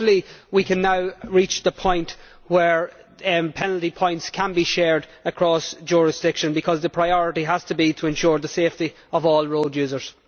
So, hopefully we can now reach the point where penalty points can be shared across jurisdictions, because the priority has to be to ensure the safety of all road users.